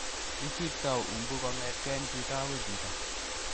Isipto umbu kong'eten chito akoi chito.